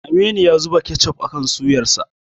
Aminu ya zuba kechof akan suyarsa.